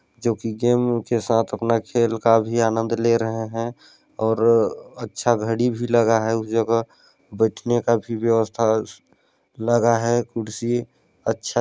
जो की गेम के साथ अपना खेल का भी आननद ले रहै है और अच्छा घड़ी भी लगा है उस जगह बैठने का भी व्यवस्था लगा है खुर्सी अच्छा --